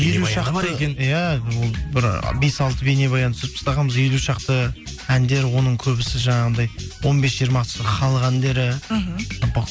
елу шақты екен иә ол бір бес алты бейнебаян түсіріп тастағанбыз елу шақты әндер оның көбісі жаңағындай он бес жиырмасы халық әндері мхм